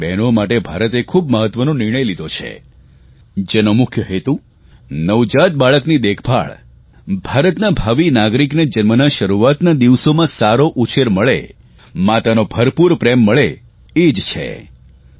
આપણી આ બહેનો માટે ભારતે ખૂબ મહત્વનો નિર્ણય લીધો છે જેનો મુખ્ય હેતુ નવજાત બાળકની દેખભાળ ભારતના ભાવિ નાગરિકને જન્મના શરૂઆતના દિવસોમાં સારો ઉછેર મળે માતાનો ભરપૂર પ્રેમ મળે એ છે